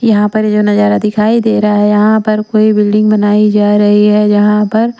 यहां पर ये जो नजारा दिखाई दे रहा है यहां पर कोई बिल्डिंग बनाई जा रही है जहां पर --